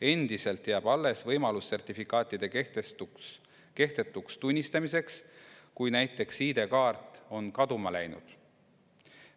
Endiselt jääb alles võimalus sertifikaadid kehtetuks tunnistada, kui näiteks ID‑kaart on kaduma läinud.